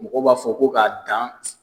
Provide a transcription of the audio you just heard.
Mɔgɔ b'a fɔ ko k'a dan